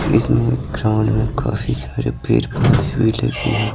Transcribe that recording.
इसमें ग्राउंड में काफी सारे पेर पौधे भी लगे हुए--